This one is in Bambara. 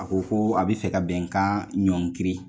A ko ko a bI fɛ ka bɛnkan ɲɔnkiri.